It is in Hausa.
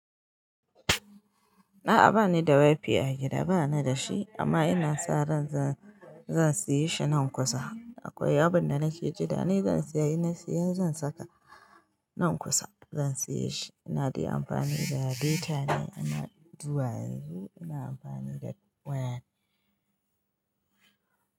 A'a bani da wifi a gida, bani dashi amma ina sa ran zan saye shi nan kusa. Akwai abin da nake jira ne zan siya, in na siya zan saka nan kusa. Zan siye shi ina dai amfani da data ne, amma zuwa yanzu ina amfani da waya ne.